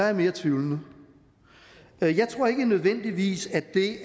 er mere tvivlende jeg tror ikke nødvendigvis at det